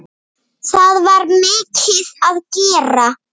Það var mikið að gera.